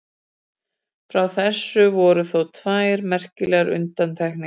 Frá þessu voru þó tvær merkilegar undantekningar.